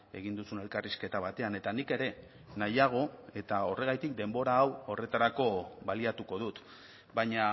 egin duzun elkarrizketa batean eta nik ere nahiago eta horregatik denbora hau horretarako baliatuko dut baina